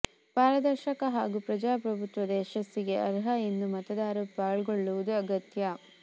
ಪಾರದರ್ಶಕ ಹಾಗೂ ಪ್ರಜಾಪ್ರಭುತ್ವದ ಯಶಸ್ಸಿಗೆ ಅರ್ಹ ಎಲ್ಲ ಮತದಾರರು ಪಾಲ್ಗೊಳ್ಳುವುದು ಅಗತ್ಯ